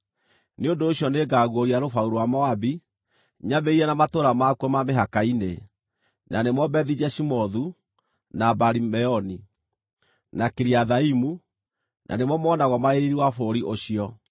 nĩ ũndũ ũcio nĩngaguũria rũbaru rwa Moabi, nyambĩrĩirie na matũũra makuo ma mĩhaka-inĩ, na nĩmo Bethi-Jeshimothu, na Baali-Meoni, na Kiriathaimu, na nĩmo monagwo marĩ riiri wa bũrũri ũcio.